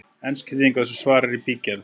Ensk þýðing á þessu svari er í bígerð.